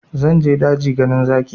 Zan je daji ganin zaki